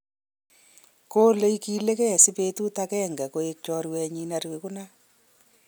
kole igilegei si betut ageng'e koiek chorwenyin nerigunat